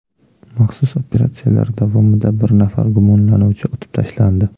Maxsus operatsiyalar davomida bir nafar gumonlanuvchi otib tashlandi.